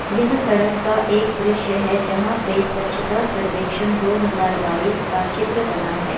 यह सड़क का एक दृश्य है जहाँ पे स्वच्छता सर्वेक्षण दो हजार बाइस का चित्र बना है।